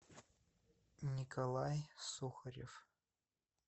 николай сухарев